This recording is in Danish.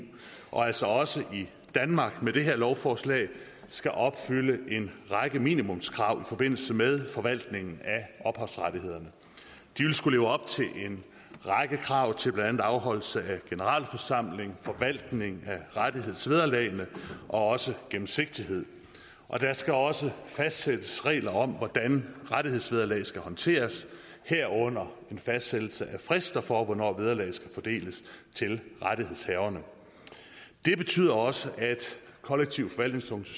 og altså også i danmark med det her lovforslag skal opfylde en række minimumskrav i forbindelse med forvaltningen af ophavsrettighederne de vil skulle leve op til en række krav til blandt andet afholdelse af generalforsamling forvaltning af rettighedsvederlag og også gennemsigtighed der skal også fastsættes regler om hvordan rettighedsvederlag skal håndteres herunder en fastsættelse af frister for hvornår vederlag skal fordeles til rettighedshaverne det betyder også at kollektiv forvaltnings